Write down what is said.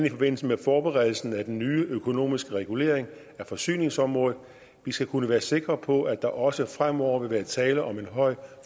i forbindelse med forberedelsen af den nye økonomiske regulering af forsyningsområdet vi skal kunne være sikre på at der også fremover vil være tale om en høj